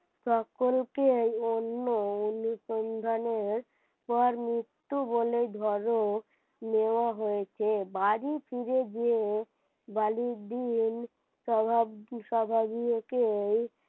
সকলকেই অন্য অনুসন্ধানের পর মৃত্যু বলেই ধরে নেওয়া হয়েছে বাড়ি ফিরে গিয়ে বালি দিন সভা সভাগুলোকেই,